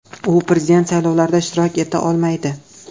U prezident saylovlarida ishtirok eta olmaydi.